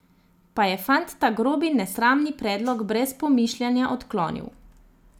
Pa je fant ta grobi nesramni predlog brez pomišljanja odklonil.